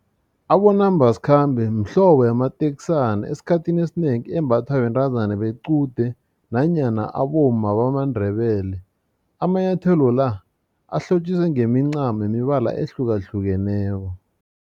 Abonambasikhambe mhlobo yamateksana esikhathini esinengi embathwa bentazana bequde nanyana abomma bamaNdebele amanyathelo la ahlotjiswe ngemincamo yemibala ehlukahlukeneko.